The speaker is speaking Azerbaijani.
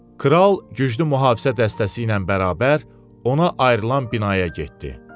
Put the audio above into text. Kral güclü mühafizə dəstəsi ilə bərabər ona ayrılan binaya getdi.